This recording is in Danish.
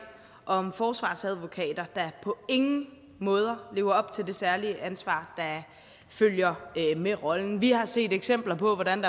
om forsvarsadvokater der på ingen måde lever op til det særlige ansvar der følger med rollen vi har set eksempler på hvordan